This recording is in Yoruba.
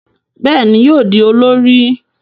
Béèni yóò di olórí.